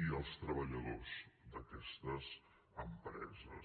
i els treballadors d’aquestes empreses